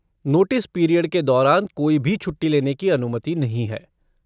Notice period के दौरान कोई भी छुट्टी लेने की अनुमति नहीं है।